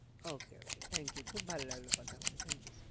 Okay okay thank you খুব ভালো লাগলো কথা বলে thank you